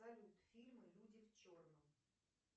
салют фильмы люди в черном